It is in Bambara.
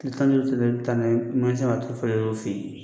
Tile tan ni duuru tɛmɛnen, i bɛ taa n'a ye mekanisiyɛnw b'a tulu falen o yɛrɛ fɛ yen